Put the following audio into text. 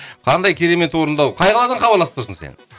қандай керемет орындау қай қаладан хабарласып тұрсың сен